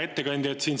Hea ettekandja!